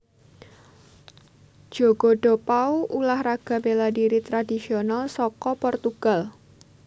Jogo do pau Ulah raga béla dhiri tradhisional saka Portugal